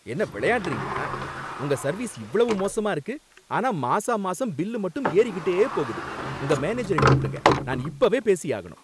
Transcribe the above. என்ன விளையாடுறீங்களா? உங்க சர்வீஸ் இவ்வளவு மோசமா இருக்கு, ஆனா மாசா மாசம் பில்லு மட்டும் ஏறிக்கிட்டே போகுது! உங்க மேனேஜரை கூப்பிடுங்க நான் இப்ப பேசியாகணும்.